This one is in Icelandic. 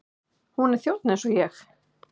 Hún er þjónn eins og ég.